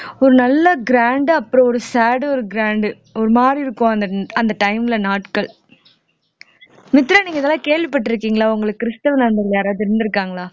ஒரு நல்ல grand ஆ அப்புறம் ஒரு sad ஒரு grand ஒரு மாதிரி இருக்கும் அந்த அந்த time ல நாட்கள் மித்ரா நீங்க இதெல்லாம் கேள்விப்பட்டிருக்கீங்களா உங்களுக்கு கிறிஸ்துவ நண்பர்கள் யாராவது இருந்திருக்காங்களா